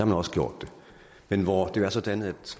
man også gjort det men hvor det jo er sådan at